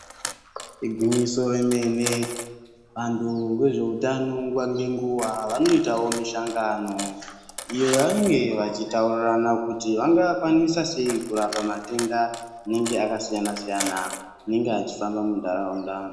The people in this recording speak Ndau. Igwinyiso remene antu vezveutano nguva nenguva vanoitavo mishangano. Iyo yavanenge vachitaurirana kuti vangakwanisa sei kurapa matenda anenge akasiyana-siyana, anenge achifamba munharaunda.